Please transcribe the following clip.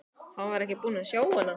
Hann var ekki búinn að sjá hana.